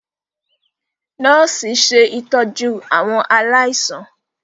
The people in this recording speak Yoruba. nọọsi ṣe ìtọjú àwọn aláìsàn.